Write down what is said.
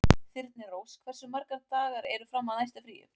Þyrnirós, hversu margir dagar fram að næsta fríi?